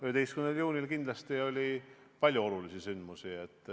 11. juunil oli palju olulisi sündmusi.